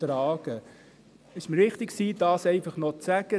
Es war mir wichtig, dies noch zu sagen.